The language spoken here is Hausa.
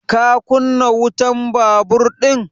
Ka kunna wutan babur ɗin?